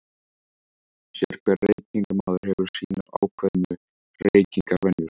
Sérhver reykingamaður hefur sínar ákveðnu reykingavenjur.